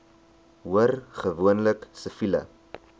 hoor gewoonlik siviele